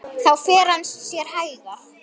Þá fer hann sér hægar.